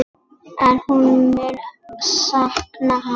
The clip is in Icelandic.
En hún mun sakna hans.